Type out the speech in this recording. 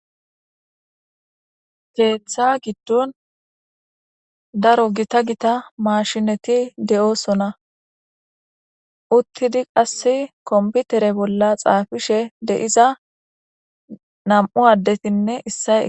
Keththa giddon daro giita gidida mashineti de'osona. Uttidi qasi koniffitere bolla xafishe diya nam'u addeti de'osona.